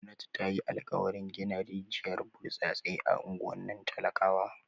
Gwamnati ta yi alkawarin gina rijiyar burtsatse a unguwannin talakawa.